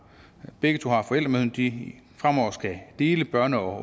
begge to har forældremyndigheden fremover skal dele børne og